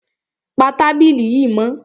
Pa tábìlì yìí mọ́!